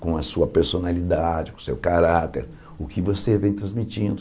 com a sua personalidade, com o seu caráter, o que você vem transmitindo.